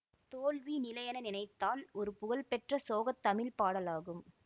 தோல்வி நிலையென நினைத்தால் ஒரு புகழ்பெற்ற சோகத் தமிழ் பாடல் ஆகும்